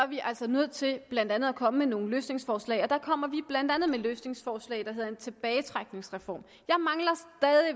vi altså nødt til blandt andet at komme med nogle løsningsforslag og der kommer vi blandt andet med et løsningsforslag der hedder en tilbagetrækningsreform